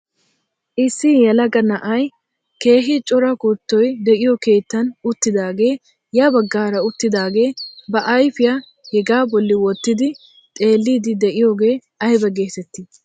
Issi yelaga na'ay keehi cora kuttoy de'iyoo keettan uttidagee ya baggaara uttidagee ba ayfiyaa hegaa bolli wottidi xeelliidi de'iyoogee ayba getettii?